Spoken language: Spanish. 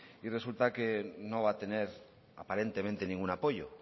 y resulta que no va a tener aparentemente ningún apoyo